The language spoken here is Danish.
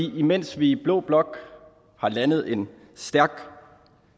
mens vi i blå blok har landet en stærk